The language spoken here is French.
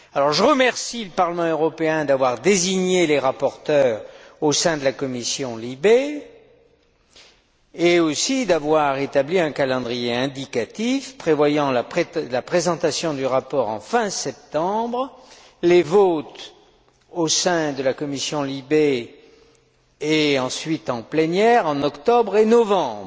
Je remercie le Parlement européen d'avoir désigné les rapporteurs au sein de la commission LIBE et aussi d'avoir établi un calendrier indicatif prévoyant la présentation du rapport fin septembre, ainsi que les votes au sein de la commission LIBE, et ensuite en plénière, en octobre et novembre.